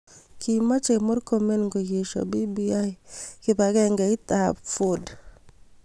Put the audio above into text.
Kimoche Murkomen koesio BBI kibangengeit ab Ford